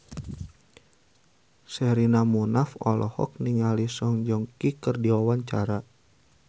Sherina Munaf olohok ningali Song Joong Ki keur diwawancara